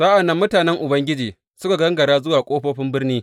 Sa’an nan mutanen Ubangiji suka gangara zuwa ƙofofin birni.